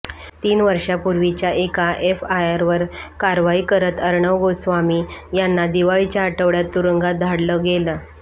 तीन वर्षांपूर्वीच्या एका एफआयआरवर कारवाई करत अर्णव गोस्वामी यांना दिवाळीच्या आठवड्यात तुरुंगात धाडलं गेलं